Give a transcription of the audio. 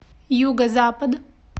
юго запад